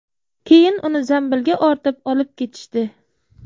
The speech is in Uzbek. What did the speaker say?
Keyin uni zambilga ortib olib ketishdi.